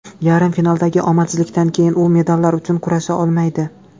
Yarim finaldagi omadsizlikdan keyin u medallar uchun kurasha olmaydi.